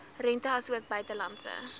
rente asook buitelandse